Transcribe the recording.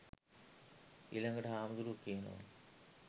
ඊලඟට හාමුදුරුවො කියනව